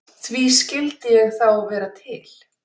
Því skyldi ég þá vera til?